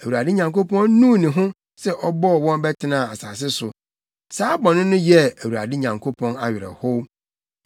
Awurade Nyankopɔn nuu ne ho sɛ ɔbɔɔ wɔn bɛtenaa asase so. Saa bɔne no yɛɛ Awurade Nyankopɔn awerɛhow.